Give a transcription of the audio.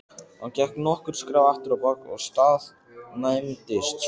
Hann gekk nokkur skref afturábak og staðnæmdist svo.